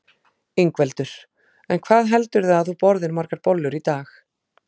Ingveldur: En hvað heldurðu að þú borðir margar bollur í dag?